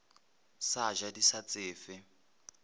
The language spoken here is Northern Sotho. sa ja di sa tsefe